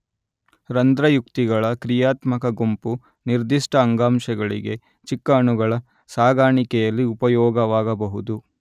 ರಂದ್ರಯುಕ್ತಿಗಳ ಕ್ರಿಯಾತ್ಮಕ ಗುಂಪು ನಿರ್ದಿಷ್ಟ ಅಂಗಾಂಶಗಳಿಗೆ ಚಿಕ್ಕ ಅಣುಗಳ ಸಾಗಾಣಿಕೆಯಲ್ಲಿ ಉಪಯೋಗವಾಗಬಹುದು